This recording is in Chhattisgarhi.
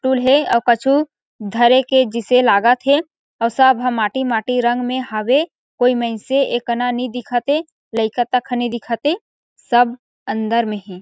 टूल के कछु धरे के जइसे लागा थे अऊ सब ह माटी-माटी रंग मे हवे कोई मइन्से ए कना नई दिखा ते लइका तक ह नई दिखा ते सब अंदर म हे।